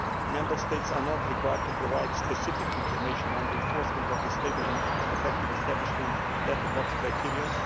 Member States are not required to provide specific information on the enforcement of the stable and effective establishment letterbox criterion.